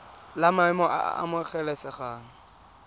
la maemo a a amogelesegang